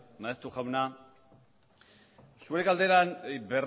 maeztu jauna zuen galderan